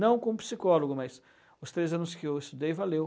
Não como psicólogo, mas os três anos que eu estudei, valeu.